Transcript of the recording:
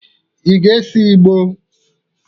Ị ga-ese ìgbó?